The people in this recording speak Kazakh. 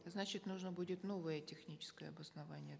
значит нужно будет новое техническое обоснование